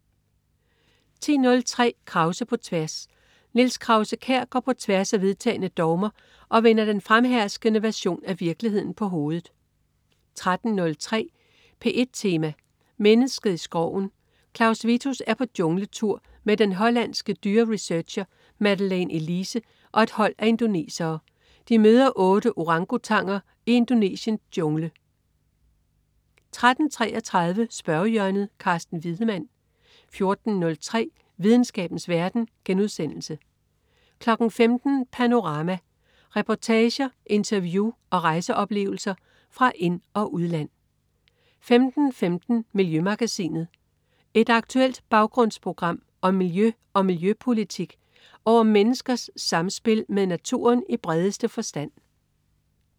10.03 Krause på tværs. Niels Krause-Kjær går på tværs af vedtagne dogmer og vender den fremherskende version af virkeligheden på hovedet 13.03 P1 Tema: Mennesket i skoven. Claus Vittus er på jungletur med den hollandsk dyreresearcher Madeline Elise og et hold af indonesere. De møder otte orangutanger i Indonesiens jungle 13.33 Spørgehjørnet. Carsten Wiedemann 14.03 Videnskabens verden* 15.00 Panorama. Reportager, interview og rejseoplevelser fra ind- og udland 15.15 Miljømagasinet. Et aktuelt baggrundsprogram om miljø og miljøpolitik og om menneskers samspil med naturen i bredeste forstand